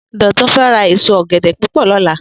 Dotun fè rá ésó ògèdè púpò lòlá